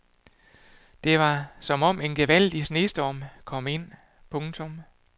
Det var som om en gevaldig snestorm kom ind. punktum